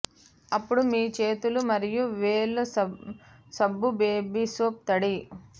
అప్పుడు మీ చేతులు మరియు వేళ్లు సబ్బు బేబీ సోప్ తడి